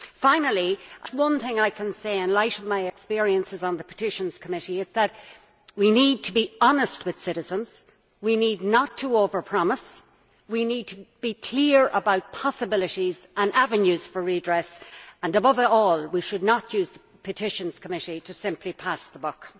Finally, one thing I can say in light of my experiences on the Petitions Committee is that we need to be honest with citizens we should not over promise we need to be clear about the possibilities and avenues for redress and above all we should not use the Petitions Committee to simply pass the buck.